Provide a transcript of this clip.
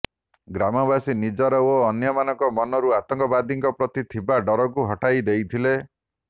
ଗ୍ରାମବାସୀ ନିଜର ଓ ଅନ୍ୟମାନଙ୍କ ମନରୁ ଆତଙ୍କବାଦୀଙ୍କ ପ୍ରତି ଥିବା ଡରକୁ ହଟାଇ ଦେଇଥିଲେ